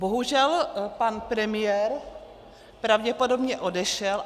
Bohužel pan premiér pravděpodobně odešel.